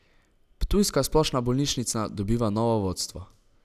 Ptujska splošna bolnišnica dobiva novo vodstvo.